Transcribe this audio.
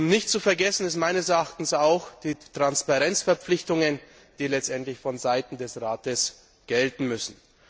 Nicht zu vergessen sind meines Erachtens auch die Transparenzverpflichtungen, die letztendlich von Seiten des Rates gelten müssen.